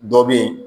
Dɔ bɛ yen